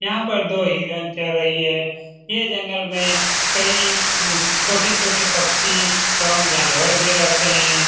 यहाँ पे दो हिरण चल रही हैं ये जंगल में कई छोटे-छोटे पंछी जानवर भी रहते हैं।